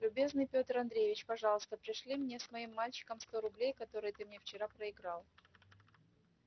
любезный петр андреевич пожалуйста пришли мне с моим мальчиком сто рублей которые ты мне вчера проиграл